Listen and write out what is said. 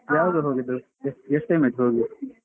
ಯಾವಾಗ ಹೋದದ್ದು ಎಷ್ಟು time ಆಯ್ತು ಹೋಗಿ?